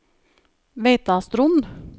Veitastrond